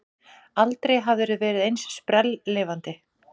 Aldrei hafðirðu verið eins sprelllifandi.